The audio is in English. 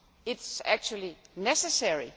It is actually necessary.